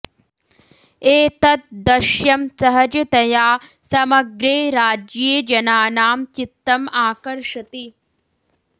एतत् द्दश्यं सहजतया समग्रे राज्ये जनानां चित्तम् आकर्षति